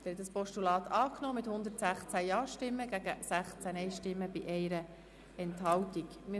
Sie haben dieses Postulat mit 116 Ja- gegen 16 Nein-Stimmen bei 1 Enthaltung angenommen.